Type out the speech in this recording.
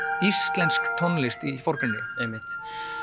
íslensk tónlist í forgrunni einmitt